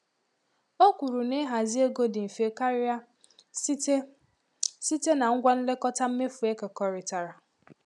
O kwuru na ịhazi ego dị mfe karịa site site na ngwa nlekọta mmefu ekekọrịtara.